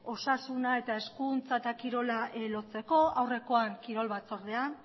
osasuna eta hezkuntza eta kirola lotzeko aurrekoan kirol batzordean